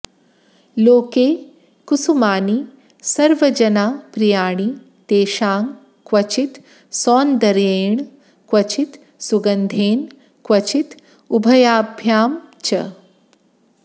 लोके कुसुमानि सर्वजनप्रियाणि तेषां क्वचित् सौन्दर्येण क्वचित् सुगन्धेन क्वचित् उभयाभ्यां च